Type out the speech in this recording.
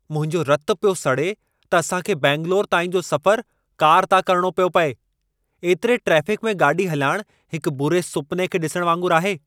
मुंहिंजो रतु पियो सड़े त असांखे बेंगलोर ताईं जो सफ़रु कार तां करणो पियो पिए. एतिरे ट्रेफ़िकु में गाॾी हलाइणु हिकु बुरे सुपने खे डि॒सणु वागुंरु आहे।